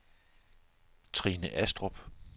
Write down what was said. Trine Astrup